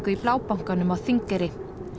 í Blábankanum á Þingeyri